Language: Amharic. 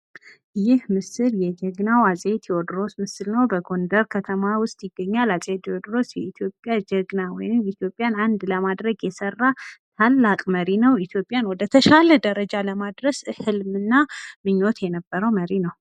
ይህ ምስል የጀግናው አፄ ቴዎድሮስ ምስል ነው :: በጎንደር ከተማ ውስጥ ይገኛል :: አፄ ቴዎድሮስ የኢትዮጵያ ጀግና ወይም ኢትዮጵያን አንድ ለማድረግ የሰራ ታላቅ መሪ ነው :: ኢትዮጵያን ወደ ተሻለ ደረጃ ለማድረስ በህልም እና ምኞት የነበረው መሪ ነው ::